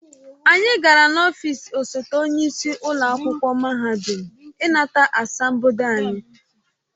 Anyị gara n'ọfịs osote onye isi ụlọ akwụkwọ mahadum ịnata asambodo anyị